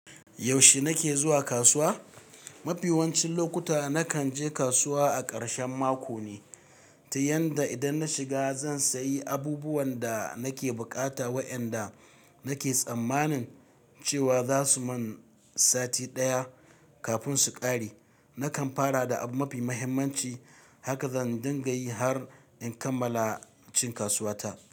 Yaushe nake zuwa kasuwa? Mafi yawancin lokuta nakan je kasuwa a ƙarshen mako ne, ta yanda idan na shiga zan sayi abubuwan da nake bukata waɗanda nake tsammanin cewa za su man sati ɗaya kafin su ƙare. Nakan fara da abin mafi muhimmanci, haka zan dinga yi har in kammala cin kasuwata.